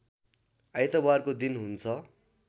आइतबारको दिन हुन्छ